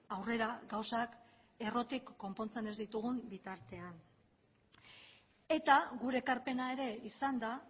aurrera gauzak errotik konpontzen ez ditugun bitartean eta gure ekarpena ere izan da